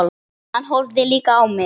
Hann horfði líka á mig.